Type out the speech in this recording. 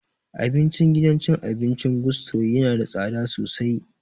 Abincin gidan cin abincin Gusto yana da tsada sosai